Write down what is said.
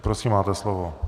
Prosím, máte slovo.